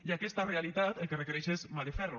i aquesta realitat el que requereix és mà de ferro